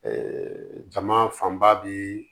jama fanba bi